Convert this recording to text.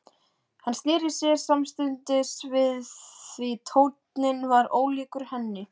Hann sneri sér samstundis við því tónninn var ólíkur henni.